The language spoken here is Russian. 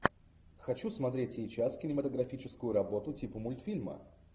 хочу смотреть сейчас кинематографическую работу типа мультфильма